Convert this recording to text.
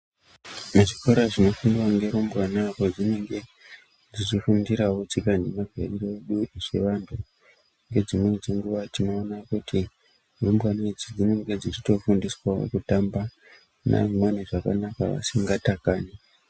Muzvikora zvinofundwa ngerumbwana kwazvinge zveifundirawo tsika nemagariro edu sevantu ,ngedzimweni dzenguwa tinoona kuti rumbwana idzi dzinonga dzeitofundiswawo kutamba nemamweni zvakanaka vasingatakani.